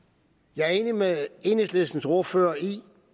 jeg er enig med enhedslistens ordfører i